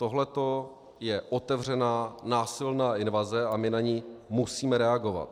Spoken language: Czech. Tohle je otevřená násilná invaze, a my na ni musíme reagovat.